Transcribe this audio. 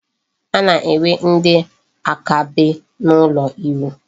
A na-enwe ndị akaebe n'ụlọ iwu.